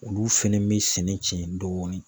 Olu fɛnɛ bɛ sɛnɛ cɛn dɔɔnin.